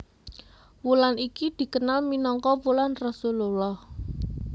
Wulan iki dikenal minangka wulan Rasulullah